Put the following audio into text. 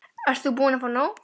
Ert þú búin að fá nóg?